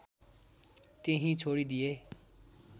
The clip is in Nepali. त्यहीँ छोडिदिएँ